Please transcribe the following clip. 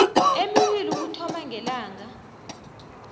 emibili ukuthoma ngelanga